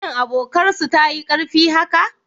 Shin abotar su tayi karfi haka?